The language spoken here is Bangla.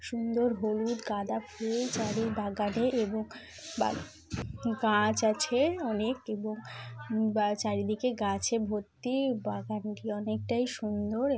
সুন্দর হলুদ গাঁদা ফুল চারি বাগানে এবং গাছ আছে অনেক এবং বা চারদিকে গাছে ভর্তি বাগানটি অনেকটাই সুন্দর এব--